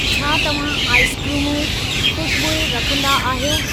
छा तव्हां आइसक्रीमूं, खू़शबूइ रखंदा आहियो?